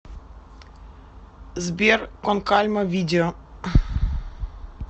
сбер кон кальма видео